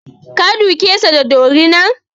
Ka duke sa da dorina!